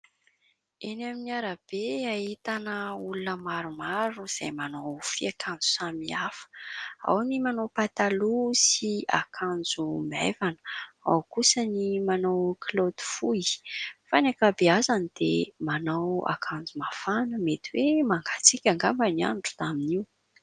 Eny amin'ny arabe ahitana olona maromaro izay manao fiakanjo samihafaa. Ao ny manao pataloha sy akanjo maivana, ao kosa ny manao kilaoty fohy ; fa ny ankabeazany dia manao akanjo mafana mety hoe mangatsiaka angamba ny andro taminy io.